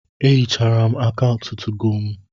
Ehichara m akaụntụ 2go mụ